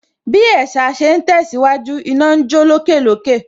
Bí ẹ̀sà ṣe ń tẹ̀síwájú, iná ń jó lókè lókè